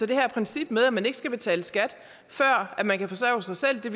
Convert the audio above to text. det her princip med at man ikke skal betale skat før man kan forsørge sig selv det